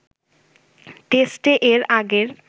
টেস্টে এর আগের